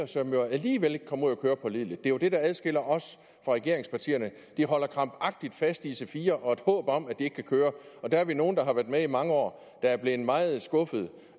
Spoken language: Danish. som jo alligevel ikke kommer ud at køre pålideligt det er jo det der adskiller os fra regeringspartierne de holder krampagtigt fast i ic4 og et håb om at de kan køre og der er vi nogle der har været med i mange år der er blevet meget skuffede